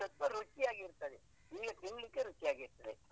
ಅದು ಸ್ವಲ್ಪ ರುಚಿ ಆಗಿ ಇರ್ತದೆ ನಿಮ್ಗೆ ತಿನ್ಲಿಕ್ಕೆ ರುಚಿ ಆಗಿ ಇರ್ತದೆ.